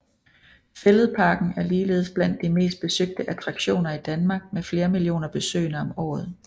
Fælledparken er ligeledes blandt de mest besøgte attraktioner i Danmark med flere millioner besøgende om året